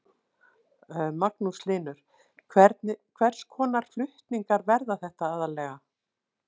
Magnús Hlynur: Hvers konar flutningar verða þetta aðallega?